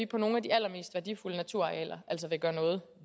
på nogle af de allermest værdifulde naturarealer altså vil gøre noget